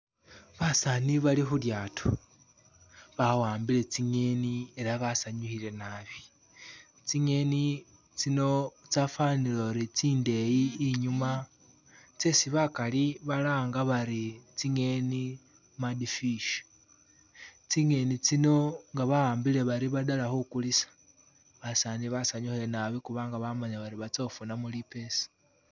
Basaani bali khu lyaato ba wambile tsingeni ela basanyukhile nabi, tsingeni tsino tsafanile uri tsindeyi inyuma tsesi bakali balanga bari tsingeni mad fish, tsingeni tsino nga ba wambile bari badela khukulisa, basani basanyukhile nabi khubanga bamanyile bari ba tsa khufunamo lipesa.